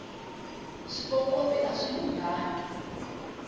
swikokovi aswi lunghangi